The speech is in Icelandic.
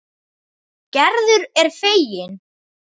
Gerður er fegin.